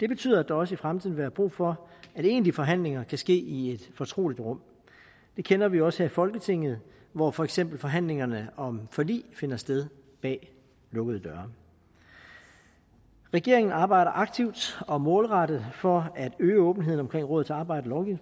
det betyder at der også i fremtiden vil være brug for at egentlige forhandlinger kan ske i et fortroligt rum det kender vi også her i folketinget hvor for eksempel forhandlingerne om forlig finder sted bag lukkede døre regeringen arbejder aktivt og målrettet for at øge åbenheden omkring rådets arbejde